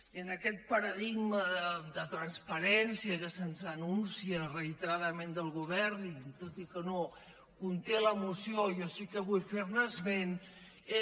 i en aquest paradigma de transparència que se’ns anuncia reiteradament del govern i tot i que no ho conté la moció jo sí que vull fer ne esment